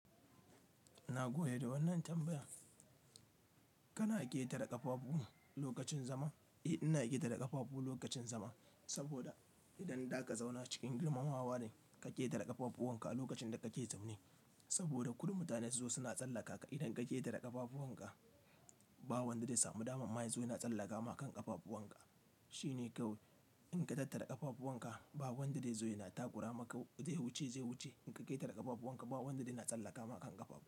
Na gode da wannan tambaya. Kana ƙetare ƙafafu lokacin zama? Eh, ina ƙetare ƙafafu lokacin zama saboda idan za ka zauna cikin girmamawa ne, kake naɗe ƙafafuwanka lokacin da kake zaune saboda ku da mutane su zo suna tsallaka ka idan ka ƙetare ƙafafu wanka, ba wanda zai samu damar. Mai yazo yana tsallaka maka ƙafafu wanka. Shi ne kawai in ka tattare ƙafafu wanka, ba wanda zai zo ya takura maka zai wuce, zai wuce. In ka ƙetare ƙafafu wanka, ba wanda zai na tsallaka maka ƙafa.